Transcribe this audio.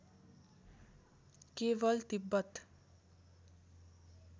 केवल तिब्बत